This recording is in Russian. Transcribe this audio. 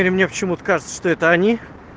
мне почему-то кажется что это они